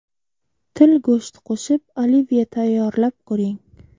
Til go‘shti qo‘shib olivye tayyorlab ko‘ring.